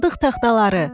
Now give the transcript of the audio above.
Sandıq taxtaları.